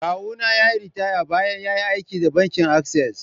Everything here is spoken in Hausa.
Kawuna ya yi ritaya bayan ya yi aiki da bankin Access.